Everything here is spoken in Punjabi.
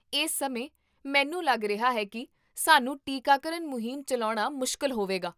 ਇਸ ਸਮੇਂ, ਮੈਨੂੰ ਲੱਗ ਰਿਹਾ ਹੈ ਕੀ, ਸਾਨੂੰ ਟੀਕਾਕਰਨ ਮੁਹਿੰਮ ਚੱਲਾਉਣਾ ਮੁਸ਼ਕਲ ਹੋਵੇਗਾ